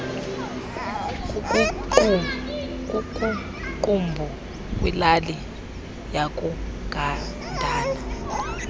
kukuqumbu kwilali yakugandana